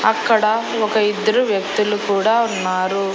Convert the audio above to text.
అక్కడ ఒక ఇద్దరు వ్యక్తులు కూడా ఉన్నారు.